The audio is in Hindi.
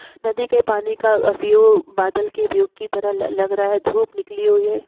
नदी के पानी का व्यू बादल के व्यू की तरह ल लग रहा है धूप निकली हुई है।